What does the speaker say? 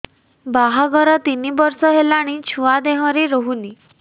ବାହାଘର ତିନି ବର୍ଷ ହେଲାଣି ଛୁଆ ଦେହରେ ରହୁନି